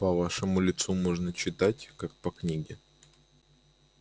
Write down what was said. по вашему лицу можно читать как по книге